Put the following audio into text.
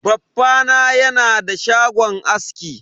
Baffa na yana da shagon aski.